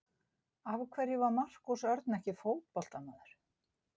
Af hverju var Markús Örn ekki fótboltamaður?